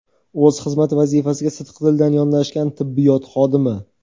o‘z xizmat vazifasiga sidqidildan yondashgan tibbiyot xodimi.